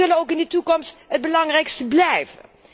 En zij zullen ook in de toekomst het belangrijkste blijven.